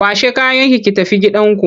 Kwashe kayanki ki tafi gidanku!